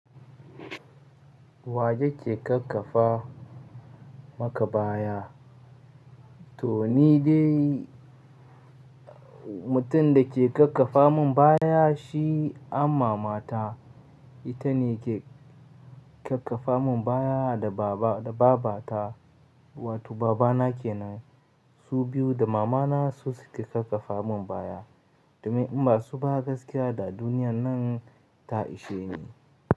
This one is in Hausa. Wayake kakkafa maka baya? To ni dai mutum da ke kakkafa mun baya shi an mamata. Ita ne ke kakkafa mun baya da baba da babata wato babana kenan. Su biyu da mamana su suke kakkafa mun baya. Domin in ba su ba gaskiya da duniyar nan ta ishe ni.